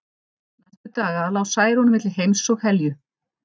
Næstu daga lá Særún milli heims og helju.